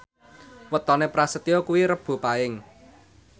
wetone Prasetyo kuwi Rebo Paing